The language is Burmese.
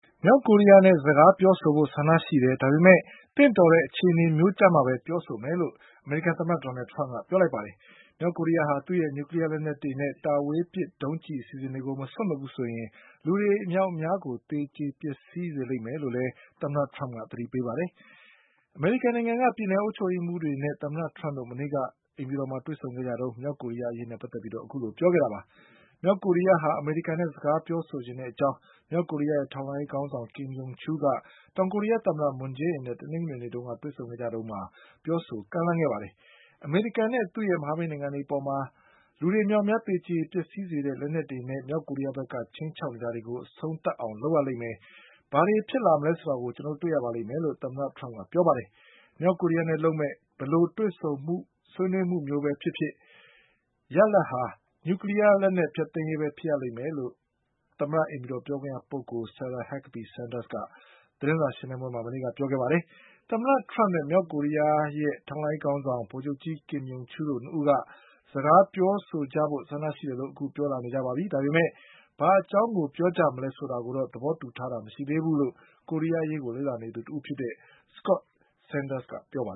မြောက်ကိုရီးယားနဲ့စကားပြောဆိုဖို့ဆန္ဒရှိတယ်၊ ဒါပေမဲ့ သင့်တော်တဲ့အခြေအနေမျိုးကျမှပဲ ပြောဆိုမယ်လို့ အမေရိကန် သမ္မတဒေါ်နလ်ထရမ့်ကပြောလိုက်ပါတယ်။ မြောက်ကိုရီးယားဟာ သူ့ရဲ့ နျူကလီးယားလက်နက်တွေနဲ့တာဝေးပစ်ဒုံး ကျည်အစီအစဉ်တွေကို မစွန့်လွှတ်ဘူးဆိုရင် လူတွေအမြောက်အများကိုသေကျေပျက်စီးစေလိမ့်မယ်လို့လည်း သမ္မတထရမ့်က သတိပေးပါတယ်။ အမေရိကန်နိုင်ငံက ပြည်နယ်အုပ်ချုပ်ရေးမှုးတွေနဲ့သမ္မတထရမ့်တို့ မနေ့ တုန်းက အိမ်ဖြူတော်မှာ တွေ့ဆုံခဲ့ကြတုန်း မြောက်ကိုရီးယားအရေးနဲ့ပတ်သက်ပြီးအခုလိုပြောခဲ့တာပါ။ မြောက်ကိုရီးယားဟာ အမေရိကန်နဲ့စကားပြောချင်တဲ့အကြောင်း မြောက်ကိုရီးယားရဲ့ ထောက်လှန်းရေးခေါင်းဆောင် ကင်ယုံချူးက တောင် ကိုရီးယားသမ္မတ မွန်ဂျေးအင်နဲ့ တနင်္ဂနွေနေကတွေ့ဆုံခဲ့ကြတုန်းမှာ ပြောဆိုကမ်းလှမ်းခဲ့ပါတယ်။ အမေရိ ကန်နဲ့သူ့ရဲ့ မဟာမိတ်နိုင်ငံတွေအပေါ်လူအမြောက်အများသေကျေစေနိုင် တဲ့လက်နက်တွေနဲ့ မြောက်ကိုရီးယားက ချိန်းချောက်နေ တာတွေကို အဆုံးသတ်အောင်လုပ်ရလိမ့်မယ်။ ဘာတွေဖြစ်လာ မလဲဆိုတာ ကို ကျနော်တို့တွေ့ရပါလိမ့်မယ်လို့ သမ္မတ ထရမ့်ကပြောပါတယ်။ မြောက်ကိုရီးယားနဲ့လုပ်မယ့် ဘယ်လိုတွေ့ ဆုံဆွေးနွေး မှုပဲဖြစ်ဖြစ် ရလာဒ်က နျူကလီးယားဖျက် သိမ်းရေးပဲဖြစ်ရလိမ့်မယ်လို့ သမ္မတအိမ်ဖြူတော်ပြောခွင့်ရပုဂ္ဂိုလ် Sarah Huckabee Sanders က သတင်းစာရှင်းလင်း ပွဲမှာ မနေ့ကပြောခဲ့ပါတယ်။ သမ္မတထရမ့်နဲ့ မြောက်ကိုရီးယားရဲ့ ထောက်လှမ်းရေးခေါင်းဆောင် ဗိုလ်ချုပ်ကြီးကင်ယုံ ချူးလ်တို့နှစ်ဦးက စကားပြောကြဖို့ဆန္ဒရှိတယ်လို့ အခုပြောလာကြပါပြီ ဒါပေမဲ့ ဘာအကြောင်းကို ပြောကြမလဲဆိုတာ တော့ သဘောတူထားကြတာမရှိသေးဘူးလို့ ကိုရီးယားအရေးလေ့လာသူ တဦးဖြစ်တဲ့ Scott Snyderကပြောပါ